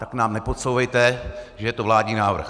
Tak nám nepodsouvejte, že je to vládní návrh.